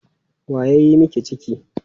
Wa ya yi miki ciki?